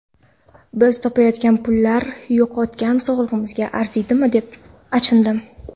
Biz topayotgan pullar yo‘qotgan sog‘lig‘imizga arziydimi, deb achindim.